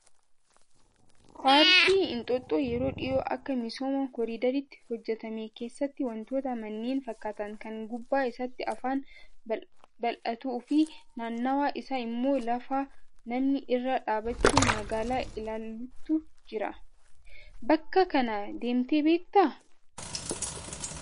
Paarkii Inxooxxoo yeroo dhiyoo akka misooma koriidariitti hojjatame keessatti wantoota manneen fakkaatan kan gubbaa isaatti afaan bal'atuu fi naannawaa isaa immoo lafa namni irra dhaabbachuun magaalaa ilaalutu jira. Bakka kana deemtee beektaa?